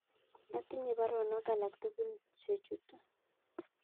Atinye baruonok alak tugul chechutu